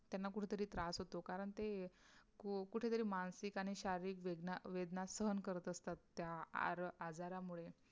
त्यांना कुठंतरी त्रास होतो कारण, ते अं कुठेतरी मानसीक आणि शारीरिक वेदना वेदना सहन करत असतात त्या आर अजरांमुळे